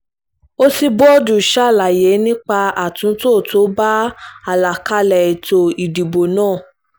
òṣíbódù ṣàlàyé nípa àtúntò tó bá àlàkálẹ̀ ètò ìdìbò náà